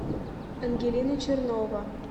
ангелина чернова